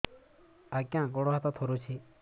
ଆଜ୍ଞା ଗୋଡ଼ ହାତ ଥରୁଛି